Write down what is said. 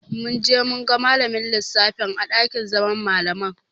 Mun je mun ga malamin lissafin a ɗakin zaman Malaman.